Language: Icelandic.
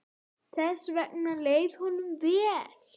Þess vegna leið honum vel.